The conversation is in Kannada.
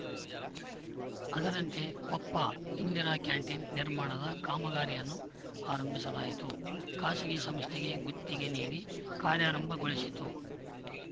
ಅದರಂತೆ ಕೊಪ್ಪ ಇಂದಿರಾ ಕ್ಯಾಂಟೀನ್‌ ನಿರ್ಮಾಣದ ಕಾಮಗಾರಿಯನ್ನೂ ಆರಂಭಿಸಲಾಯಿತು ಖಾಸಗಿ ಸಂಸ್ಥೆಗೆ ಗುತ್ತಿಗೆ ನೀಡಿ ಕಾರ್ಯಾರಂಭಗೊಳಿಸಿತು